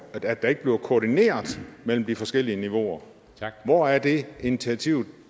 at der ikke bliver koordineret mellem de forskellige niveauer hvor er det initiativ